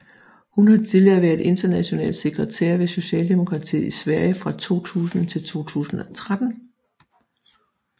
Hun har tidligere været international sekretær ved Socialdemokratiet i Sverige fra 2000 til 2013